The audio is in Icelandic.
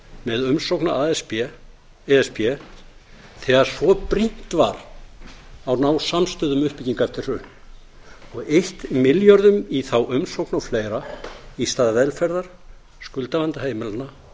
með umsókn að e s b þegar svo brýnt var að ná samstöðu um uppbyggingu eftir hrun og eytt milljörðum í þá umsókn og fleira í stað velferðar skuldavanda heimilanna